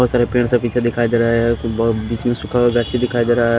बहुत सारे पेड़ से पीछे दिखाई दे रहे हैं बीच में सुखा हुआ दिखाई दे रहा है।